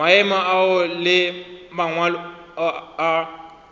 maemo ao le mangwalo a